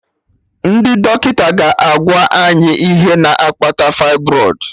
Ndị dọkịta ga/agwa any ihe na-akpata fibroid